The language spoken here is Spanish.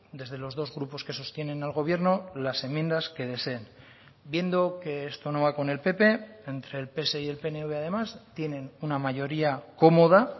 desde los dos grupos que sostienen al gobierno las enmiendas que deseen viendo que esto no va con el pp entre el pse y el pnv además tienen una mayoría cómoda